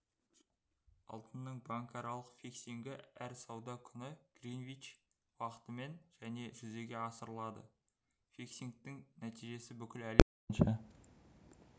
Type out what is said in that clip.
алтынның банкаралық фиксингі әр сауда күні гринвич уақытымен және жүзеге асырылады фиксингтің нәтижесі бүкіл әлем бойынша